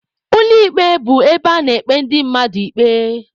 Ụlọ ikpe bụ ebe a na-ekpe ndị mmadụ ikpe.